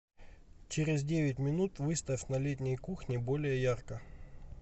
через девять минут выставь на летней кухне более ярко